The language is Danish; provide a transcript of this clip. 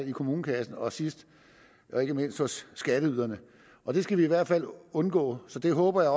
i kommunekassen og sidst men ikke mindst hos skatteyderne og det skal vi i hvert fald undgå så jeg håber